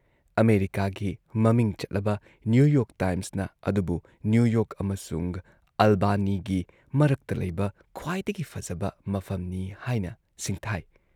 ꯑꯃꯦꯔꯤꯀꯥꯒꯤ ꯃꯃꯤꯡ ꯆꯠꯂꯕ ꯅ꯭ꯌꯨ ꯌꯣꯔꯛ ꯇꯥꯏꯝꯁꯅ ꯑꯗꯨꯕꯨ ꯅ꯭ꯌꯨ ꯌꯣꯔꯛ ꯑꯃꯁꯨꯡ ꯑꯥꯜꯕꯥꯅꯤꯒꯤ ꯃꯔꯛꯇ ꯂꯩꯕ ꯈ꯭ꯋꯥꯏꯗꯒꯤ ꯐꯖꯕ ꯃꯐꯝꯅꯤ ꯍꯥꯏꯅ ꯁꯤꯡꯊꯥꯏ ꯫